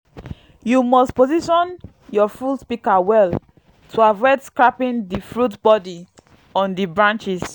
you must position your fruit pika well to avoid scraping di fruit bodi on di branches